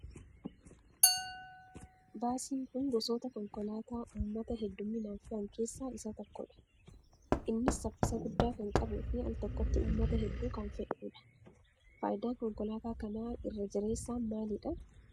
Baasiin kun gosoota Konkolaataa uummata hedduminaan fe'an keessaa isaa tokkoo dha. Innis saffisa guddaa kan qabuu fi altokkotti uummata hedduu kan fe'uu dha. Faayidaan konkolaataa kanaa irra jireessaan maalii dha?